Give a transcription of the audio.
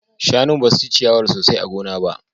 Shanun basu ci ciyawar sosai a gona ba